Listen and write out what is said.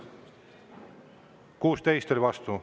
16 oli vastu.